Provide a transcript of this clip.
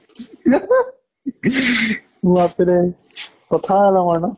বাপ ৰে কথা ডাঙৰ ন?